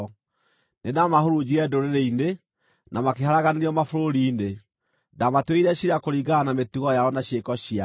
Nĩndamahurunjire ndũrĩrĩ-inĩ, na makĩharaganĩrio mabũrũri-inĩ; ndaamatuĩrĩire ciira kũringana na mĩtugo yao na ciĩko ciao.